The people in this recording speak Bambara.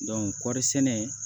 kɔɔri sɛnɛ